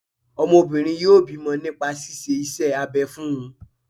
Ọmọbìnrin yọ bímọ nípa ṣíṣe iṣẹ́ abẹ fún un